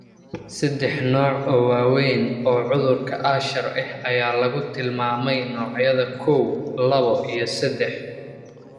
Saddex nooc oo waaweyn oo cudurka Usher ah ayaa lagu tilmaamay noocyada koow, lawoo iyo seddax.